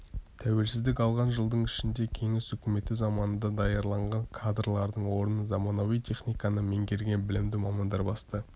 тәуелсіздік алған жылдың ішінде кеңес үкіметі заманында даярланған кадрлардың орнын заманауи техниканы меңгерген білімді мамандар басты